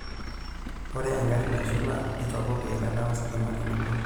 Oree egari nashula neitopok eilata ositima tenebo.